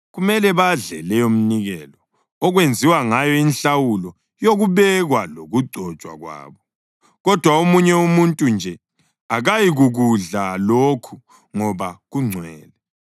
Kumele badle leyomnikelo okwenziwa ngayo inhlawulo yokubekwa lokugcotshwa kwabo. Kodwa omunye umuntu nje akayikukudla lokhu ngoba kungcwele.